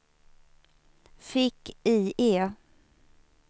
fick-IE